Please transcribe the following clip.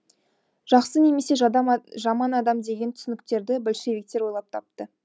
жақсы немесе жаман адам деген түсініктерді большевиктер ойлап тапты